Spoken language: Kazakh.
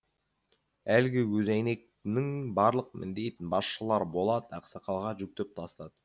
әлгі көзәйнектінің барлық міндетін басшылар болат ақсақалға жүктеп тастады